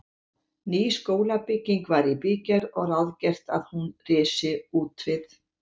Ný skólabygging var í bígerð og ráðgert að hún risi útvið